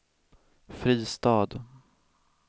Fristad